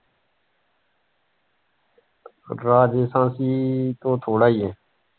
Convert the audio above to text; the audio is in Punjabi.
ਰਾਜਸਥਾਨ ਤੋਂ ਥੋੜਾ ਈ ਆ।